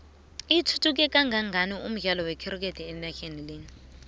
ithuthuke kangangani umdlalo wektikethi enaxheni lena